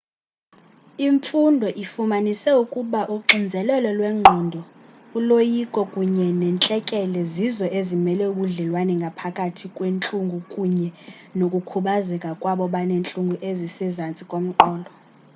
imfundo ifumanise ukuba uxinzelelo lwengqondo uloyiko kunye nentlekele zizo ezimele ubudlelwane phakathi kwentlungu kunye nokukhubazeka kwabo baneentlungu ezisezantsi komqolo